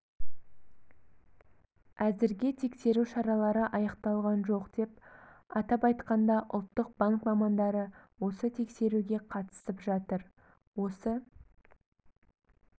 әзірге тексеру шаралары аяқталған жоқ атап айтқанда ұлттық банк мамандары осы тексеруге қатысып жатыр осы